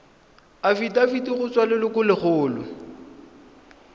afitafiti go tswa go lelokolegolo